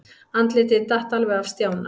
Andlitið datt alveg af Stjána.